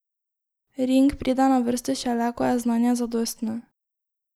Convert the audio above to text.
Ring pride na vrsto šele, ko je znanje zadostno.